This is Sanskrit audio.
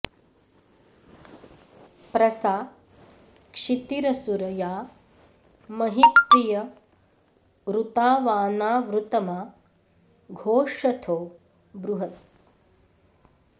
प्र सा क्षितिरसुर या महि प्रिय ऋतावानावृतमा घोषथो बृहत्